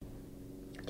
DR2